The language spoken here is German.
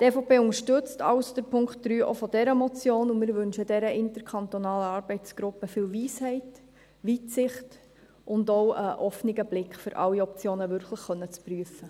Die EVP unterstützt also auch den Punkt 3 dieser Motion, und wir wünschen der interkantonalen Arbeitsgruppe viel Weisheit, Weitsicht und auch einen offenen Blick, um wirklich alle Optionen prüfen zu können.